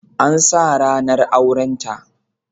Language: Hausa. An sa ranar aurenta